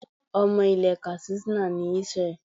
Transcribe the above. Ọmọ ilẹ̀ Katsina ni Israel.